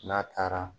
N'a taara